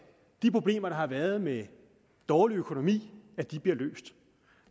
de problemer der har været med dårlig økonomi bliver løst